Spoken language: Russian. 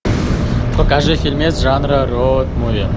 покажи фильмец жанра роуд муви